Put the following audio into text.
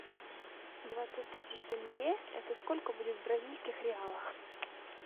двадцать тысяч тенге это сколько будет в бразильских реалах